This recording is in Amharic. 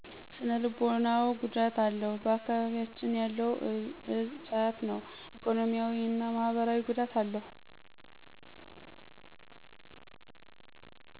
ስነልቦናዎ ጉዳት አለው ባአካቢቢያችን ያለው እፆ ጫት ነው። ኢኮኖሚያዊ እና ማህበራዊ ጉዳት አለው።